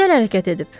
Gözəl hərəkət edib.